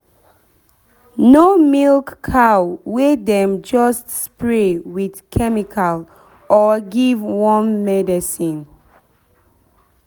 no milk cow wey dem just spray with chemical or give worm medicine.